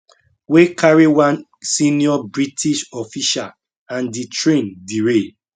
wey carry one senior british official and di train derail